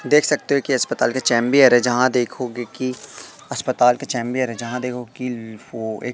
देख सकते हो कि अस्पताल के चैंबर है जहां देखोगे कि अस्पताल के चैंबर है जहां देखो कि वो एक--